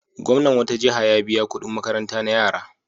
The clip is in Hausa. Gwamnan wata jiha ya biya kuɗin makaranta na yara.